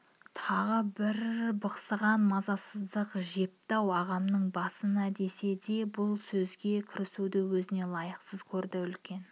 тағы бір бықсыған мазасыздық жепі-ау ағамның басына десе де бұл сөзге кірісуді өзіне лайықсыз көрді үлкен